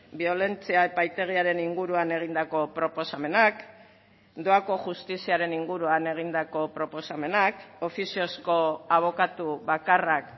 biolentzia epaitegiaren inguruan egindako proposamenak doako justiziaren inguruan egindako proposamenak ofiziozko abokatu bakarrak